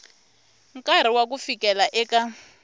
nkarhi wa ku fikela eka